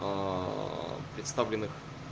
в представленных